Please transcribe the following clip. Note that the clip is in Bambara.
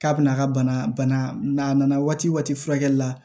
K'a bɛna a ka bana n'a nana waati waati furakɛli la